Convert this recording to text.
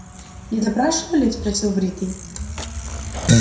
не допрашивали спросил бритый